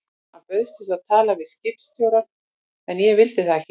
Hann bauðst til að tala við skólastjórann en ég vildi það ekki.